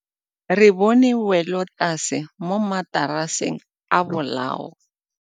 Re bone wêlôtlasê mo mataraseng a bolaô.